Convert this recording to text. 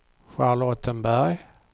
Charlottenberg